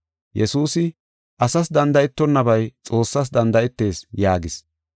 Yesuusi, “Asas danda7etonabay Xoossas danda7etees” yaagis.